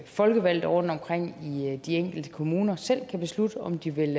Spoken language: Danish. folkevalgte rundtomkring i de enkelte kommuner selv kan beslutte om de vil